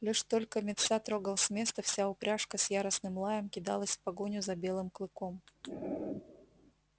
лишь только митса трогал с места вся упряжка с яростным лаем кидалась в погоню за белым клыком